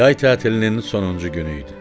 Yay tətilinin sonuncu günü idi.